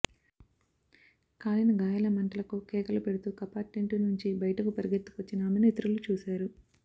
కాలిన గాయాల మంటలకు కేకలు పెడుతూ కపార్టెంటు నుంచి బయటకు పరుగెత్తుకొచ్చిన ఆమెను ఇతరులు చూశారు